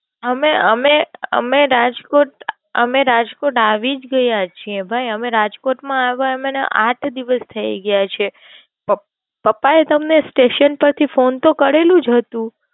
અમે અમે અમે રાજકોટ અમે રાજકોટ આવી જ ગયા છીએ ભાઈ. અમે રાજકોટ માં આવ્યા એને અમને આઠ દિવસ થઇ ગયા છે. પપ્પા એ તમને Station પરથી Phone તો કરેલું જ હતું.